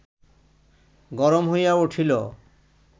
গরম হইয়া উঠিল